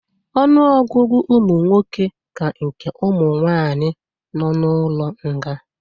Ọnụọgụgụ ụmụnwoke ka nke ụmụ nwanyị nọ n'ụlọ nga